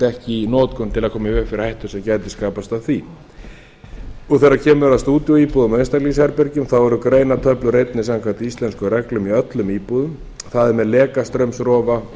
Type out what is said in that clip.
ekki í notkun til að koma í veg fyrir hættu sem gæti skapast af því þegar kemur að stúdíóíbúðum og einstaklingsherbergjum þá eru greinatöflur einnig samkvæmt íslenskum reglum í öllum íbúðum það er með lekastraumsrofa og